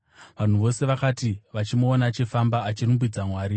Vanhu vose vakati vachimuona achifamba achirumbidza Mwari,